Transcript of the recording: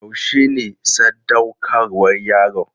Yaushe ne sadaukarwar yaron?